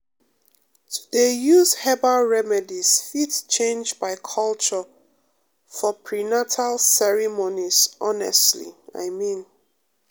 to dey use herbal remedies fit change by culture for prenatal ceremonies honestly i mean